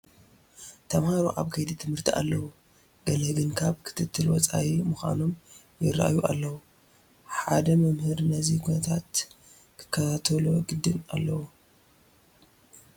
ተመሃሮ ኣብ ኣብ ከይዲ ትምህርቲ ኣለዉ፡፡ ገለ ግን ካብ ክትትል ወፃኢ ምዃኖም ይርአዩ ኣለዉ፡፡ ሓደ መምህር ነዚ ኩነታት ክከታተሎ ግድን ኣለዎ፡፡